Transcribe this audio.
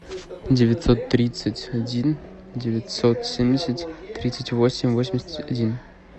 девятьсот тридцать один девятьсот семьдесят тридцать восемь восемьдесят один